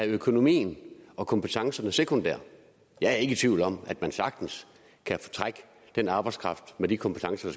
økonomien og kompetencerne sekundært jeg er ikke i tvivl om at man sagtens kan trække den arbejdskraft med de kompetencer